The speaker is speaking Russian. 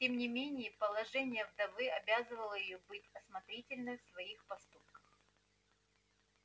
тем не менее положение вдовы обязывало её быть осмотрительной в своих поступках